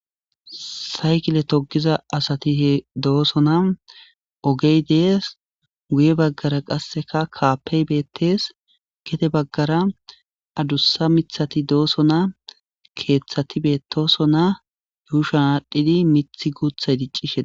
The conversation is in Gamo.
saykile togiza asatie doosona ogey dees guye baggara qasseka kaapey beettees gete baggara adussa mithati doosona keeththati bettosona yuushan aadhdhidi mithi guuthay diccishe